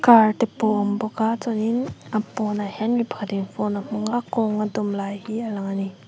car te pawh awm bawk a chuanin a pawnah hian mipa in phone a hmang a kawng a dawm lai hi a lang a ni.